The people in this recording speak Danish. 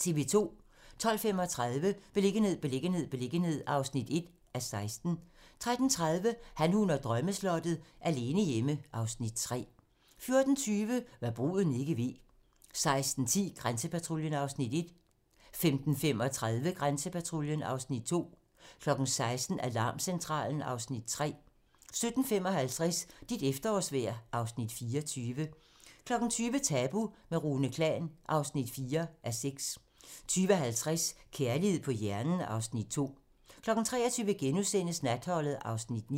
12:35: Beliggenhed, beliggenhed, beliggenhed (1:16) 13:30: Han, hun og drømmeslottet - alene hjemme (Afs. 3) 14:20: Hva' bruden ikke ved 15:10: Grænsepatruljen (Afs. 1) 15:35: Grænsepatruljen (Afs. 2) 16:00: Alarmcentralen (Afs. 3) 17:55: Dit efterårsvejr (Afs. 24) 20:00: Tabu - med Rune Klan (4:6) 20:50: Kærlighed på hjernen (Afs. 2) 23:00: Natholdet (Afs. 9)*